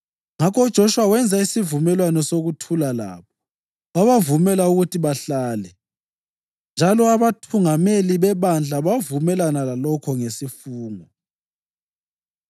Ngakho uJoshuwa wenza isivumelwano sokuthula labo wabavumela ukuthi bahlale, njalo abathungameli bebandla bavumelana lalokhu ngesifungo.